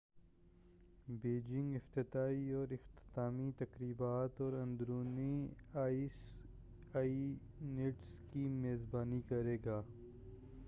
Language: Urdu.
بیجنگ افتتاحی اور اختتامی تقریبات اور اندرونی آئس ایونٹس کی میزبانی کرے گا